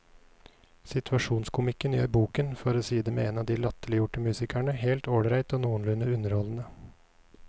Situasjonskomikken gjør boken, for å si det med en av de latterliggjorte musikerne, helt ålreit og noenlunde underholdende.